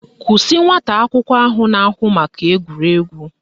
Kwụsị nwata akwụkwọ ahụ na-ahụ maka egwuregwu!